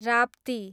Rapti